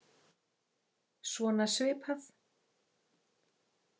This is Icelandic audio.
Svona svipað.